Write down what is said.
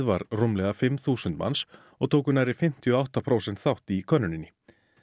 var rúmlega fimm þúsund manns og tóku nærri fimmtíu og átta prósent þátt í könnuninni